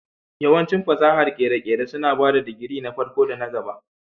Yawancin fasahar kere-kere suna ba da digiri na farko da na gaba